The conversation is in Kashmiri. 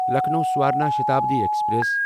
لکھنو سَورنا شتابڈی ایکسپریس